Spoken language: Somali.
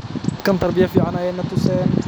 Dadkan tarbiya ficn ayaa natusen .